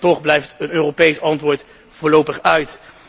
En toch blijft een Europees antwoord voorlopig uit.